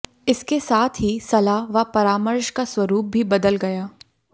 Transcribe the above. इसके साथ ही सलाह व परामर्श का स्वरूप भी बदल गया